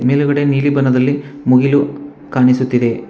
ಮೇಲುಗಡೆ ನೀಲಿ ಬಣ್ಣದಲ್ಲಿ ಮುಗಿಲು ಕಾಣಿಸುತ್ತಿದೆ.